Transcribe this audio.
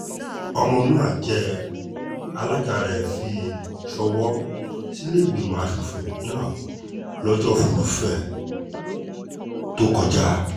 ọmọnúà jẹ́ alága rẹ̀ fi ṣọwọ́ sílẹ̀ẹ́gbìmọ̀ asòfin náà lọ́jọ́ furuufée tó kọjá